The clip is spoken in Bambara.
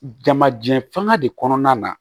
Jamajɛ fanga de kɔnɔna na